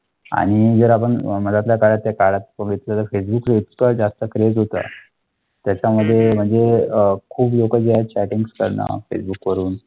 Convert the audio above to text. आणि जर आपण अं काळात फेसबुकवर जास्त क्रेझ होतं. त्याच्यामध्ये म्हणजे अह खूप लोका जो आहे चॅटिंग कर्ण फेसबुक वरूण. .